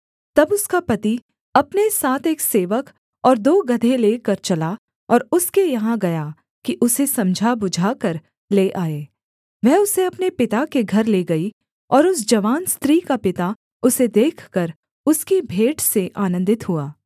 तब उसका पति अपने साथ एक सेवक और दो गदहे लेकर चला और उसके यहाँ गया कि उसे समझा बुझाकर ले आए वह उसे अपने पिता के घर ले गई और उस जवान स्त्री का पिता उसे देखकर उसकी भेंट से आनन्दित हुआ